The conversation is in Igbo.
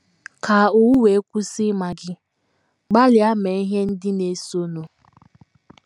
Ka owu wee kwụsị ịma gị, gbalịa mee ihe ndị na - esonụ: